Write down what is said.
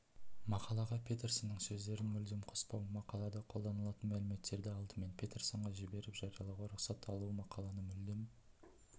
мақалаға петерсонның сөздерін мүлдем қоспау мақалада қолданылатын мәліметтерді алдымен петерсонға жіберіп жариялауға рұқсат алу мақаланы мүлдем